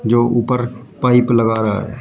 जो ऊपर पाइप लगा रहा है।